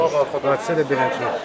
Nəticə belədir.